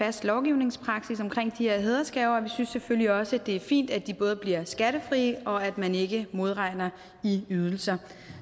fast lovgivningspraksis omkring de her hædersgaver vi synes selvfølgelig også det er fint at de både bliver skattefrie og at man ikke modregner i ydelser